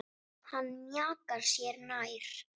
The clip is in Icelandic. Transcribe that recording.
Hann mjakar sér nær.